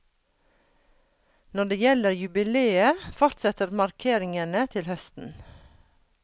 Når det gjelder jubiléet, fortsetter markeringene til høsten.